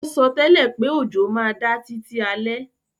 O sótẹ́lẹ̀ pé òjò má da títí alẹ́